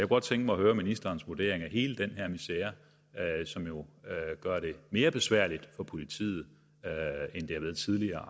godt tænke mig at høre ministerens vurdering af hele den her misere som jo gør det mere besværligt for politiet end det har været tidligere